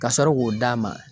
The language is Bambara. Ka sɔrɔ k'o d'a ma.